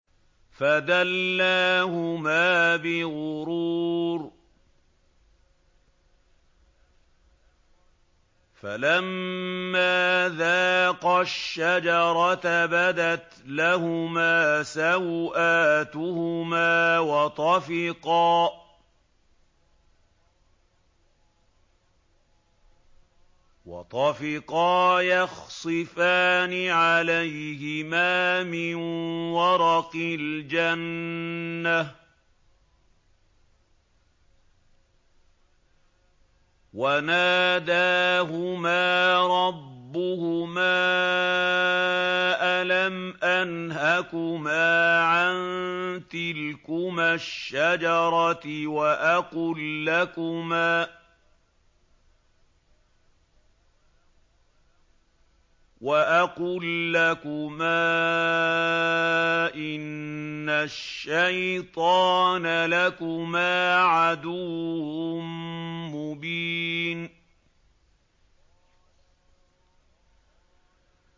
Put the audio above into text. فَدَلَّاهُمَا بِغُرُورٍ ۚ فَلَمَّا ذَاقَا الشَّجَرَةَ بَدَتْ لَهُمَا سَوْآتُهُمَا وَطَفِقَا يَخْصِفَانِ عَلَيْهِمَا مِن وَرَقِ الْجَنَّةِ ۖ وَنَادَاهُمَا رَبُّهُمَا أَلَمْ أَنْهَكُمَا عَن تِلْكُمَا الشَّجَرَةِ وَأَقُل لَّكُمَا إِنَّ الشَّيْطَانَ لَكُمَا عَدُوٌّ مُّبِينٌ